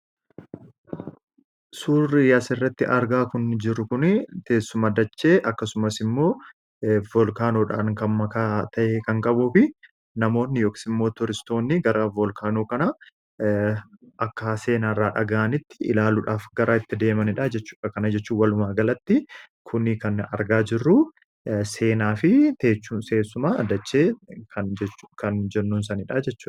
Suurri asirratti argaa jirru kun teessuma dachee akkasumas immoo volkaanoodhaan kan makaa ta'e kan qabuu fi namoonni akkasumas turistoonni gara volkaanoo kanaa akka seenaa haaraa dhagahanitti ilaaluudhaaf kan itti deemanidha jechuudha. Kana jechuun walumaa galatti kun kan argaa jirru seenaa fi teessuma dachee kan jennuun sanadha jechuudha.